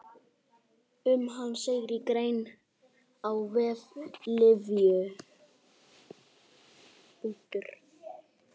Um hann segir í grein á vef Lyfju.